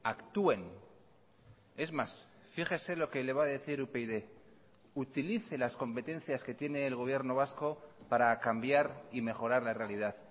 actúen es más fíjese lo que le va a decir upyd utilice las competencias que tiene el gobierno vasco para cambiar y mejorar la realidad